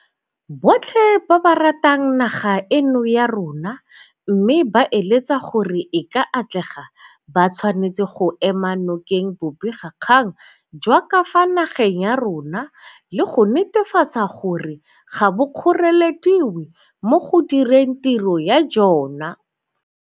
Botlhe ba ba ratang naga eno ya rona mme ba eletsa gore e ka atlega ba tshwanetse go ema nokeng bobegakgang jwa ka fa nageng ya rona, le go netefatsa gore ga bo kgorelediwe mo go direng tiro ya jona.